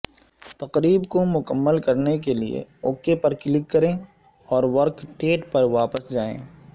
تقریب کو مکمل کرنے کے لئے اوک پر کلک کریں اور ورکیٹیٹ پر واپس جائیں